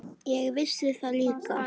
Ég vissi það líka.